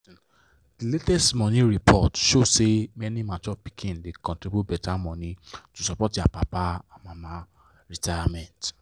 the latest money report show say many mature pikin da contribute better money to support their papa and mama retirement.